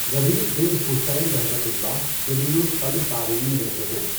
ربیع بن خُثَیمؒ جلیلُ القدر تابعین میں سے ہیں۔